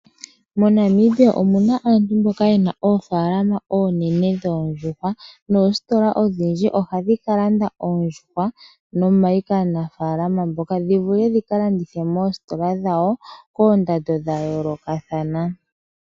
Mo Namibia muna aantu mboka yena oofalama onene dhoondjuhwa .Noositola odhindji ohadhi kalanda oondjuhwa nomayi kaanafalama mboka dhivule dhika landithwe moositola dhawo koondando dha yolokathana.